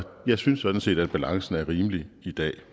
jeg synes sådan set at balancen er rimeligt i dag